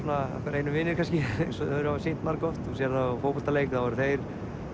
okkar einu vinir kannski eins og þeir hafa sýnt margoft þú sérð það á fótboltaleik þá eru þeir